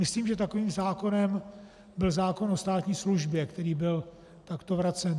Myslím, že takovým zákonem byl zákon o státní službě, který byl takto vracen.